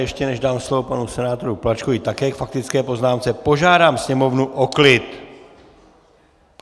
Ještě než dám slovo panu senátoru Plačkovi také k faktické poznámce, požádám sněmovnu o klid!